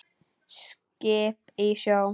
Skip í sjó.